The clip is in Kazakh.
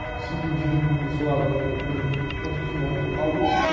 сөйтіп жүріп мен сол адамның бір постысын оқып қалдым